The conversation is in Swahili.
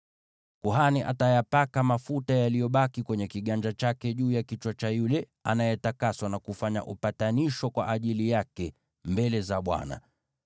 Kuhani atayapaka mafuta yaliyobaki kwenye kiganja chake juu ya kichwa cha yule anayetakaswa, na kufanya upatanisho kwa ajili yake mbele za Bwana .